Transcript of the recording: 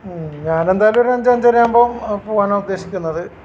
മ്മ്ഹ് ഞാൻ എന്തായാലും ഒരു അഞ്ച് അഞ്ചര ആകുമ്പോ പോവാനാ ഉദ്ദേശിക്കുന്നത്